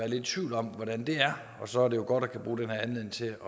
lidt i tvivl om hvordan det er og så er det jo godt at kunne bruge den her anledning til